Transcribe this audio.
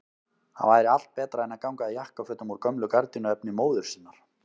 Það væri allt betra en að ganga í jakkafötum úr gömlu gardínuefni móður sinnar!